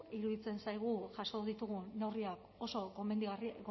iruditzen zaigu jaso ditugun neurriak oso